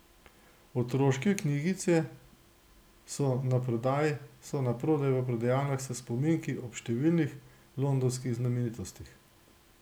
Otroške knjigice so na prodaj v prodajalnah s spominki ob številnih londonskih znamenitostih.